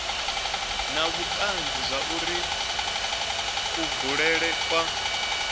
na vhutanzi zwauri kubulele kwa